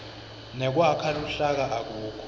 nekwakha luhlaka akukho